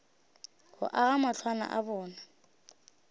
go aga matlwana a bona